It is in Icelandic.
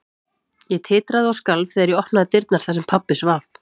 Ég titraði og skalf þegar ég opnaði dyrnar þar sem pabbi svaf.